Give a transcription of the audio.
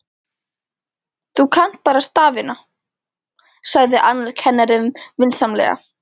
Þú kannt bara stafina, sagði annar kennarinn vinsamlega.